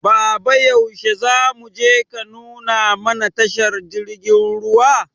Baba yaushe zamuje ka nuna mana tashar jirgin ruwa?